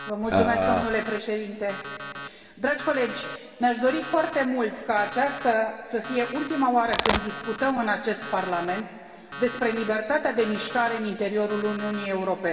Domnule președinte, dragi colegi, mi aș dori foarte mult ca aceasta să fie ultima oară când discutăm în acest Parlament despre libertatea de mișcare în interiorul Uniunii Europene.